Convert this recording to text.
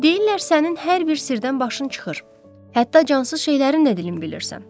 Deyirlər sənin hər bir sirdən başın çıxır, hətta cansız şeylərin də dilini bilirsən.